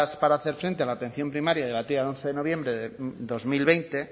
para hacer frente a la atención primaria y debatida el once de noviembre de dos mil veinte